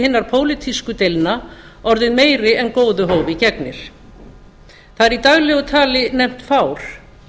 hinna pólitísku deilna orðið meiri en góðu hófi gegnir það er í daglegu tali nefnt fár